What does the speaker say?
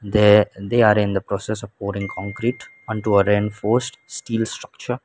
they they are in the process of pouring concrete onto a reinforced steel structure.